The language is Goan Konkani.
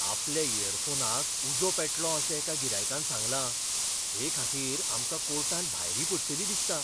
आपल्या इयरफोनाक उजो पेटलो अशें एका गिरायकान सांगलां. हे खातीर आमकां कोर्टांत भायरी पडटली दिसता.